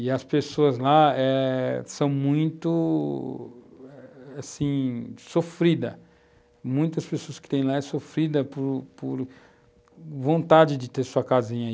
E as pessoas lá eh são muito eh, assim, sofridas muitas pessoas que têm lá são sofridas por por vontade de ter sua casinha.